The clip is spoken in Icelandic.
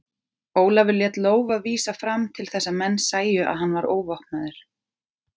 Ólafur lét lófa vísa fram til þess að menn sæju að hann var óvopnaður.